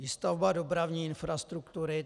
Výstavba dopravní infrastruktury.